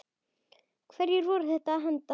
Hverju voru þeir að henda?